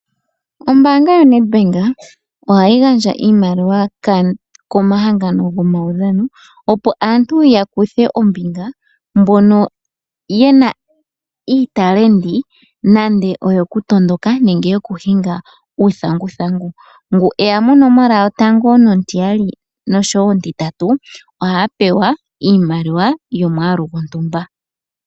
Ombaanga yoNedbank ohayi gandja iimaliwa komahangano gomaudhano, opo aantu yakuthe ombinga mbono yena iitalenti nande oyokutondoka nenge yokuhinga uuthanguthangu. Ngu eya monomola yotango nontiyali nosho wo ontitatu ohaya pewa iimaliwa yomwaalu gwontumba.